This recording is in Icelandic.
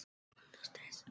Hún hélt það ekki út!